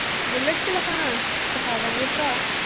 Bullet ਚਲਾਉਣਾ ਸਿਖਾ ਦੇਵਾਂਗੇ ਭਰਾ।